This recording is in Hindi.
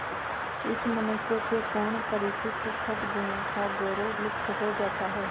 इस मनुष्य के पूर्व परिचित सदगुणों का गौरव लुप्त हो जाता है